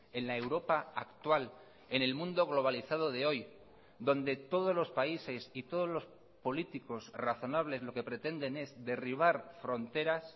en la europa actual en el mundo globalizado de hoy donde todos los países y todos los políticos razonables lo que pretenden es derribar fronteras